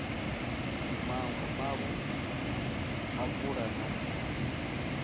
maṅwe mavu a pfulo na